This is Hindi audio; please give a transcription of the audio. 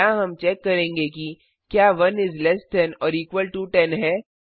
यहाँ हम चेक करेंगे कि क्या 1 इस less than or equal to 10 है